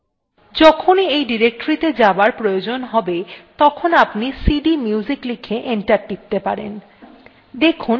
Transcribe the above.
যখনই এই ডিরেক্টরীটি তে যাবার প্রয়োজন হবে তখনি আপনি cdmusic লিখে enter টিপতে পারেন